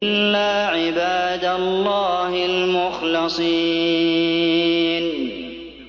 إِلَّا عِبَادَ اللَّهِ الْمُخْلَصِينَ